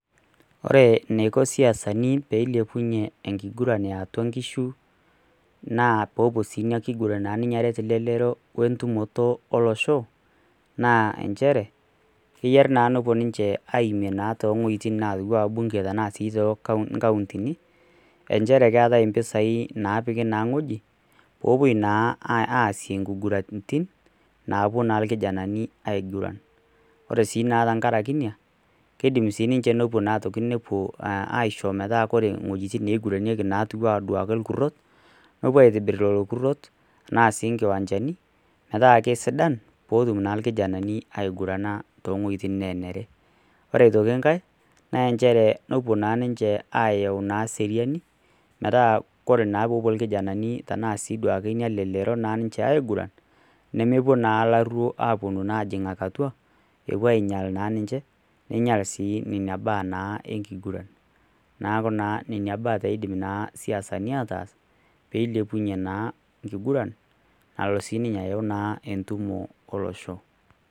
Ore eneiko isiasani pee eilepunyie enkiguran eyautua nkishu, nee pee elo siininye ina kuguran aret lelerio wentumoto olosho naa nchere, keyieu naa nepuo ninche aimie tewejiti atiu ena bunge tenaa sii toonkaontini nchere keetae mpisai naapiki naa weji pe epuo naa asie nkiguraritin napuo naa rkijanani aiguran, ore sii tenkaraki iena keidim sii niche nepuo asho metaa ore wejitin neiguranieki etiu ena rkurot nepuo aitibir lelo kurot anaa sii nkiwanchani metaa keisidan pee etum naa lkijanani aigurana toowejitin nenere. ore aitoki nkae naa nchere pee epuo naa ninche ayau seriani metaa tenepuo naa ina lelero aiguran nemepuo naa laruok ajingaki atua nepuo ainyal ninche ninyel sii nena baa naa enkigura naaku naa nena baa eidim siasani aatas pee eilepunyie naa nkiguran nalo siininye ayau entumo olosho.